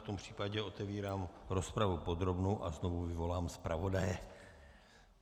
V tom případě otevírám rozpravu podrobnou a znovu vyvolám zpravodaje.